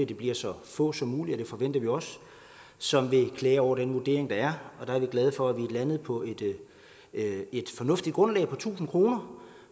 det bliver så få som muligt og det forventer vi også som vil klage over den vurdering der er og vi er glade for at vi er landet på et fornuftigt grundlag på tusind kr